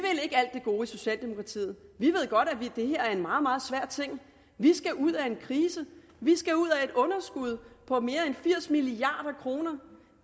socialdemokratiet vi ved godt at det her er en meget meget svær ting vi skal ud af en krise vi skal ud af et underskud på mere end firs milliard kroner